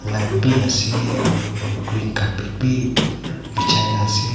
light b ase aro green carpet b bhijai na ase.